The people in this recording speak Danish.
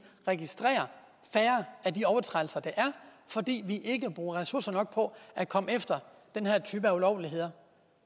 registrerer færre af de overtrædelser der er fordi vi ikke bruger ressourcer nok på at komme efter den her type ulovligheder